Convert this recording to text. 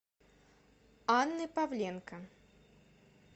анны павленко